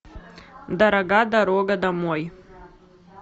дорога дорога домой